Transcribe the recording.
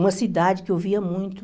Uma cidade que eu via muito.